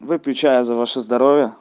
выпью чаю за ваше здоровье